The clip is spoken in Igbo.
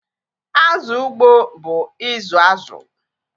Azụ ugbo bụ izu azụ